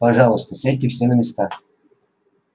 пожалуйста сядьте все на места